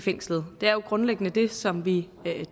fængslet det er jo grundlæggende det som vi